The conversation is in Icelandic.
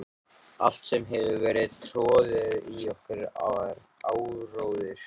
Allt sem hefur verið troðið í okkur er áróður.